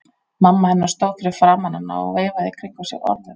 Mamma hennar stóð fyrir framan hana og veifaði í kringum sig orðum.